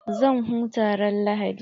Zan huta ran lahadi.